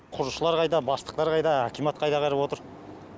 құрылысшылар қайда бастықтар қайда акимат қайда қарап отыр